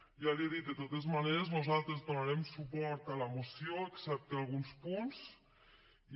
ja l’hi he dit de totes maneres nosaltres donarem suport a la moció excepte a alguns punts i